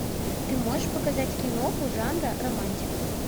ты можешь показать киноху жанра романтик